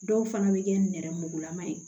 Dɔw fana bɛ kɛ nɛrɛmugulama ye